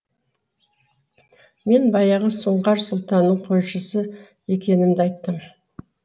мен баяғы сұңқар сұлтанның қойшысы екенімді айттым